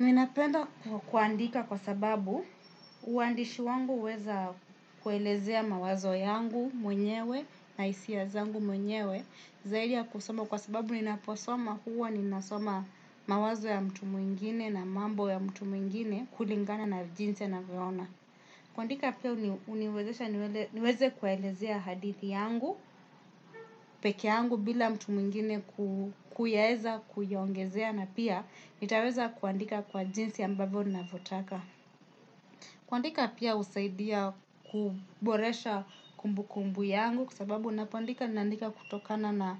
Ninapenda kuandika kwa sababu, uandishi wangu huweza kuelezea mawazo yangu mwenyewe na hisia zangu mwenyewe zaidi ya kusoma kwa sababu ninaposoma huwa ninasoma mawazo ya mtu mwingine na mambo ya mtu mwingine kulingana na jinsi anavyoona. Kuandika pia huniwezesha niweze kuelezea hadithi yangu, peke yangu bila mtu mwingine kuyaeza kuiongezea na pia nitaweza kuandika kwa jinsi ambavyo navyotaka. Kuandika pia husaidia kuboresha kumbukumbu yangu kwa sababu unapoandika ninaandika kutokana na